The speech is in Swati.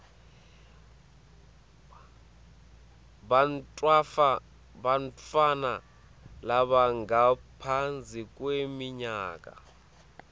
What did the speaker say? bantfwana labangaphansi kweminyaka